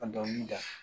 Ka dɔnkili da